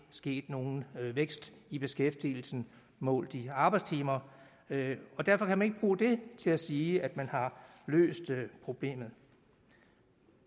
sket nogen vækst i beskæftigelsen målt i arbejdstimer og derfor kan man bruge det til at sige at man har løst problemet